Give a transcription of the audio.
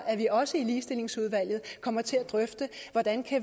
at vi også i ligestillingsudvalget kommer til at drøfte hvordan